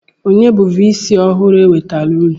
Onye bụ vii sii ọhụrụ e wetaara unu?